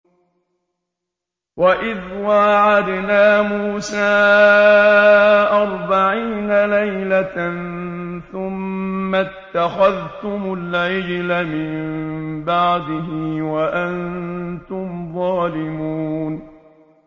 وَإِذْ وَاعَدْنَا مُوسَىٰ أَرْبَعِينَ لَيْلَةً ثُمَّ اتَّخَذْتُمُ الْعِجْلَ مِن بَعْدِهِ وَأَنتُمْ ظَالِمُونَ